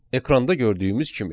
Ekranda gördüyümüz kimi.